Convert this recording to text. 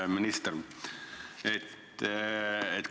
Hea minister!